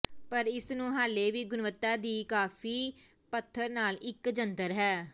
ਪਰ ਇਸ ਨੂੰ ਹਾਲੇ ਵੀ ਗੁਣਵੱਤਾ ਦੀ ਕਾਫੀ ਪੱਧਰ ਨਾਲ ਇੱਕ ਜੰਤਰ ਹੈ